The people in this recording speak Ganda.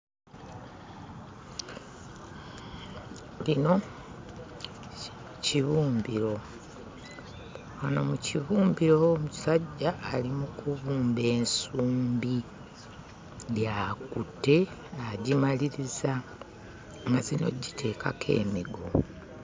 Lino kibumbiro, muno mu kibumbiro omusajja ali mu kubumba ensumbi; gy'akutte agimaliriza, amaze n'oggiteekako emigo.